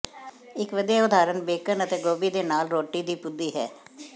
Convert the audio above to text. ਇੱਕ ਵਧੀਆ ਉਦਾਹਰਨ ਬੇਕਨ ਅਤੇ ਗੋਭੀ ਦੇ ਨਾਲ ਰੋਟੀ ਦੀ ਪੁਦੀ ਹੈ